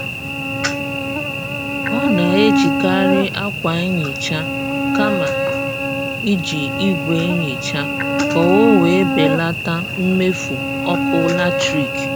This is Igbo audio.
Ọ na-ejikari akwa nhicha kama iji ìgwè nhicha ka ọ wee belata mmefu ọkụ latrik